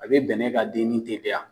A be bɛnɛ ka denni teliya.